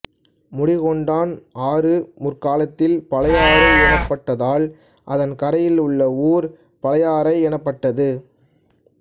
முடிகொண்டான் ஆறு முற்காலத்தில் பழையாறு எனப்பட்டதால் அதன் கரையிலுள்ள ஊர் பழையாறை எனப்பட்டது